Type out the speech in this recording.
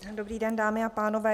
Dobrý den, dámy a pánové.